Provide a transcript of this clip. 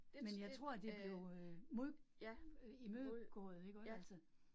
Men jeg tror de blev imødegået iggå altså